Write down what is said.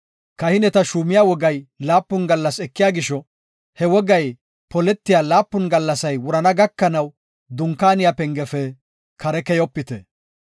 Kahineta shuumiya wogay laapun gallas ekiya gisho he wogay poletiya laapun gallasay wurana gakanaw Dunkaaniya pengefe kare keyopite.